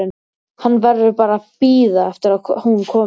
Hann verður bara að bíða eftir að hún komi.